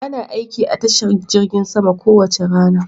Ana aiki a tashar jirgin sama kowace rana.